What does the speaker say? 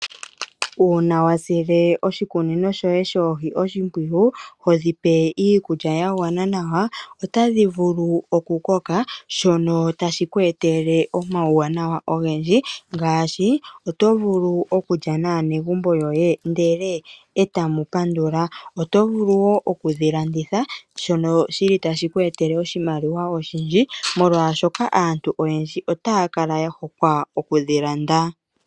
Uuna wa sile oshikunino shoye shoohi oshimpwiyu ho dhipe iikulya ya gwana nawa otadhi vulu oku koka. Shono tashi ku etele omauwanawa ngaashi oto vulu okulya naanegumbo lyoye ndele e tamu pandula. Oto vulu wo okudhi landitha shono shili tashi ku etele oshimaliwa oshindji molwaashoka aantu oyendji otaya kala ya hokwa okudhi landa.